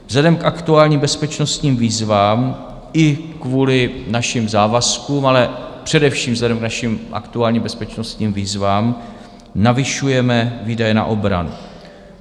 Vzhledem k aktuálním bezpečnostním výzvám i kvůli našim závazkům, ale především vzhledem k našim aktuálním bezpečnostním výzvám navyšujeme výdaje na obranu.